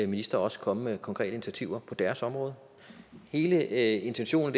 ministre også komme med konkrete initiativer på deres område hele intentionen